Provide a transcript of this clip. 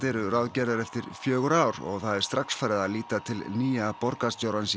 eru ráðgerðar eftir fjögur ár og það er strax farið að líta til nýja borgarstjórans